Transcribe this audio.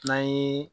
N'an ye